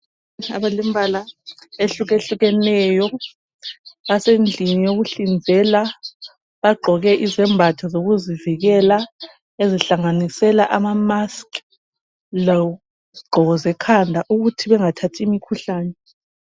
Abalemibala ehlukehlukeneyo basendlini yokuhlinzela bagqoke izembatho zokuzivikela ezihlanganisela amamask lezigqoko zekhanda ukuthi bengathathi imikhuhlane.